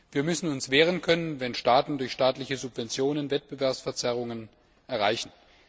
Wir müssen uns wehren können, wenn Staaten durch staatliche Subventionen Wettbewerbsverzerrungen erreichen.